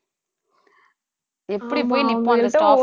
எப்பிடி போய் நிப்போம்